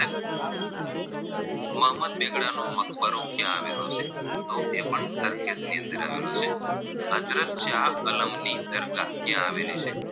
મકબરો ક્યાં આવેલો છે તો એ પણ સરખેજની અંદર આવેલો છે હઝરતશાહ અલમની દરગાહ ક્યાં આવેલી છે